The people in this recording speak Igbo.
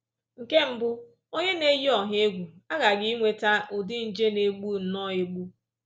Nke mbụ, onye na-eyi ọha egwu aghaghị inweta ụdị nje na-egbu nnọọ egbu